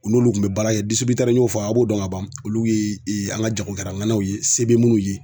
U n'olu kun be baara kɛ n'i y'o fɔ a' b'o dɔn ka ban. Olu ye an ka jagokɛlaŋanaw ye se be minnu ye.